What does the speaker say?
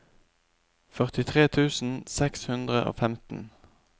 førtitre tusen seks hundre og femten